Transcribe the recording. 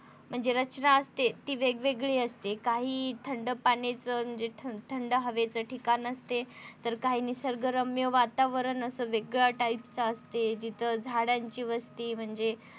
म्हणजे रचना असते ती वेगवेगळी असते काही थंड पाण्याचे जे थंड हेवेच ठिकाण असते तर काही निसर्गरम्य वातावरण असं वेगळ्या type च असत जिथं झाडांची वस्ती म्हणजे